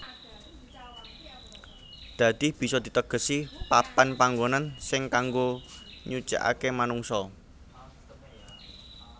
Dadi bisa ditegesi papan panngonan sing kanggo nyucèkake manungsa